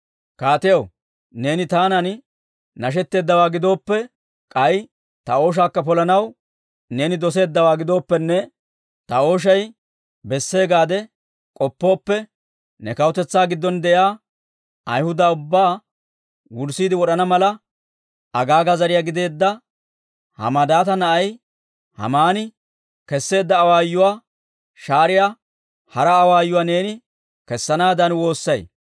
«Kaatiyaw, neeni taanan nashetteeddawaa gidooppe, k'ay ta ooshaakka polanaw neeni doseeddawaa gidooppenne ta ooshay bessee gaade k'oppooppe, ne kawutetsaa giddon de'iyaa Ayhuda ubbaa wurssiide wod'ana mala, Agaaga zariyaa gideedda Hammadaata na'ay Haamani kesseedda awaayuwaa shaariyaa hara awaayuwaa neeni kessanaadan woossay.